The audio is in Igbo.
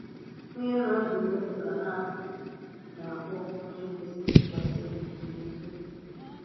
Onye nọ ọdụ̀ n’èlú ka a na-akpọ̀ onye kwesì ntụkwàsị obi na onye èzì-òkwú.